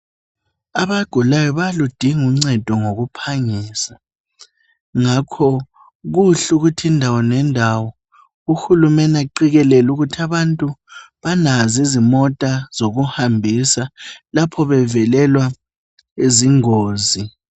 Abagulayo bayaludinga uncedo ngokuphangisa ngakho kuhle ukuthi indawo lendawo uhulumene aqikelele ukuthi abantu balazo izimota zokuhambisa lapho bevelelwa yingozi.